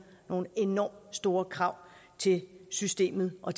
nogle enormt store krav til systemet og